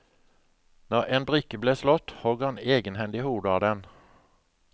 Når en brikke ble slått, hogg han egenhendig hodet av den.